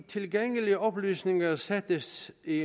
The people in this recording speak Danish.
tilgængelige oplysninger sættes i